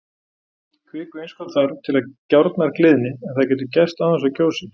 Kvikuinnskot þarf til að gjárnar gliðni, en það getur gerst án þess að gjósi.